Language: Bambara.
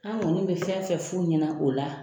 An kɔni bɛ fɛn fɛn f'u ɲɛna o la,